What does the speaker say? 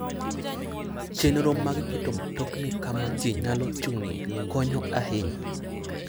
Chenro mag keto mtokni kama ji nyalo chung'ie konyo ahinya.